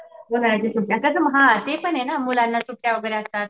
उन्हाळ्याच्या सुट्टीला हां ते पण आहे ना मुलांना सुट्ट्या वगैरे असतात.